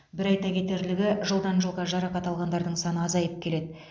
бір айта кетерлігі жылдан жылға жарақат алғандардың саны азайып келеді